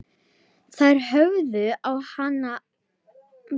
Þær horfðu á hann lengi.